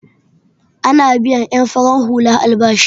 Ana biyan en farar hula albashi.